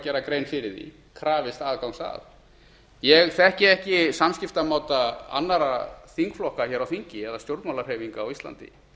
gera grein fyrir því krafist aðgangs að ég þekki ekki samskiptamáta annarra þingflokka á þingi eða stjórnmálahreyfinga á íslandi